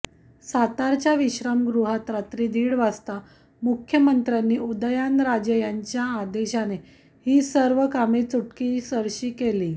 सातारच्या विश्रामगृहात रात्री दीड वाजता मुख्यमंत्र्यांनी उदयनराजे यांच्या आदेशाने ही सर्व कामे चुटकीसरशी केली